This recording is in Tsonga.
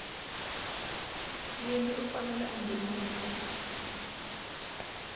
wini u fanele a nghenisa